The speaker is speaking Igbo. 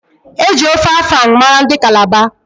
Eji ofe afang mara ndị Kalaba.